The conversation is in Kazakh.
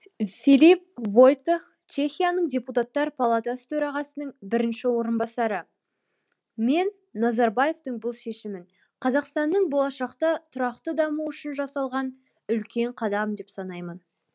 филип войтех чехияның депутаттар палатасы төрағасының бірінші орынбасары мен назарбаевтың бұл шешімін қазақстанның болашақта тұрақты дамуы үшін жасалған үлкен қадам деп санаймын